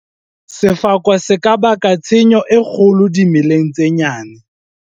Sefako se ka baka tshenyo e kgolo dimeleng tse nyane.